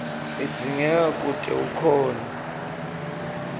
idzingeka kute ukhone